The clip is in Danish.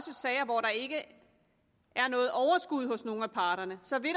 sager hvor der ikke er noget overskud hos nogen af parterne så vil